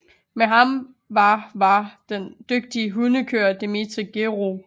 Med ham var var den dygtige hundekører Dimitri Gerov